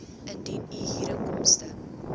indien u huurinkomste